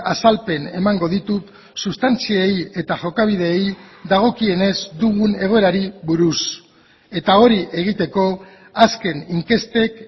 azalpen emango ditut sustantziei eta jokabideei dagokienez dugun egoerari buruz eta hori egiteko azken inkestek